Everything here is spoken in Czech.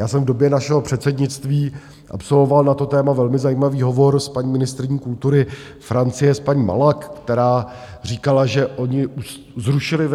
Já jsem v době našeho předsednictví absolvoval na to téma velmi zajímavý hovor s paní ministryní kultury Francie, s paní Malak, která říkala, že oni zrušili